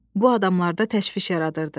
Bu adamlarda təşviş yaradırdı.